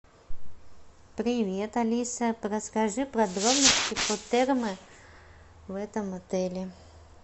привет алиса расскажи подробности про термы в этом отеле